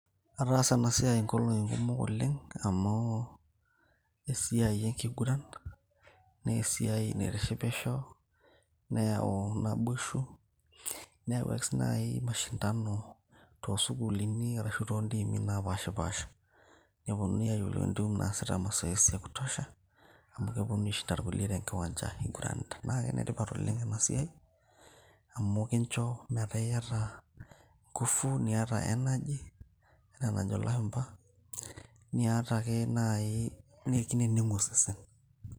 Ataasa enasiai inkolong'i kumok oleng',amu esiai enkiguran, nesiai naitishipisho, neyau naboisho, neyau ake si nai mashindano tosukuulini arashu tontiimi napashipasha. Neponunui ayiolou entim naasita mazoezi ya kutosha. Amu keponu aishinda irkulie tenkiwanja iguranita. Na kenetipat oleng' enasiai, amu kincho metaa iyata ngufu, niata energy ena najo ilashumpa, niata ake nai nikineneng'u osesen.